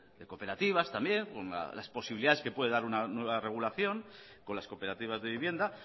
de cooperativas también las posibilidades que puede dar una nueva regulación con las cooperativas de vivienda